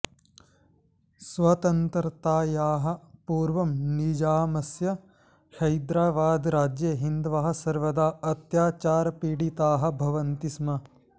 स्वतन्त्रतायाः पूर्वं निजामस्य हैदराबादराज्ये हिन्दवः सर्वदा अत्याचारपीडिताः भवन्ति स्म